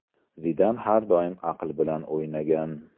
Zidan har doim aql bilan o‘ynagan.